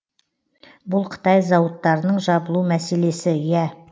бұл қытай зауыттарының жабылу мәселесі ия